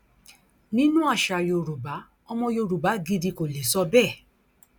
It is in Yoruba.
nínú àṣà yorùbá ọmọ yorùbá gidi kò lè sọ bẹẹ